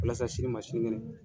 Walasa sini ma sini kɛnɛ